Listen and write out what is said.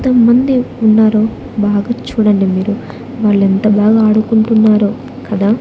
ఎంతో మంది ఉన్నారు బాగా చూడండి మీరు వాళ్ళు ఎంత బాగా ఆడుకుంటున్నారో కదా.